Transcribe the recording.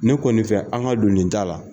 Ne kɔni fɛ an ka don nin taa la.